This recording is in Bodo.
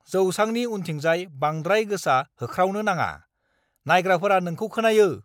जौसांनि उनथिंजाय बांद्राय गोसा होख्रावनो नाङा। नायग्राफोरा नोंखौ खोनायो।